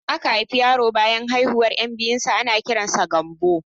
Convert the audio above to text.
Idan aka haifi yaro banyan haihuwar 'yan biyu ana kiran sa da Gambo